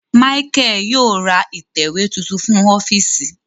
Micheal yóò rá itẹwe tuntun fún ọfiisi